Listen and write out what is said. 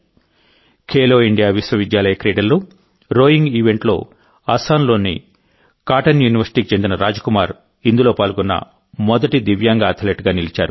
Khelo India విశ్వవిద్యాలయ క్రీడల్లో rowing ఈవెంట్లోఅస్సాంలోని కాటన్ యూనివర్సిటీకి చెందిన రాజ్కుమార్ ఇందులో పాల్గొన్న మొదటి దివ్యాంగ అథ్లెట్గా నిలిచారు